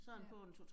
Ja